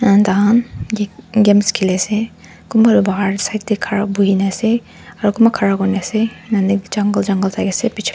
an tah khan get games khelise kunba bahar side teh khara bohina ase aru kunba khara kuri ne ase nane jungle jungle thaki se pichor--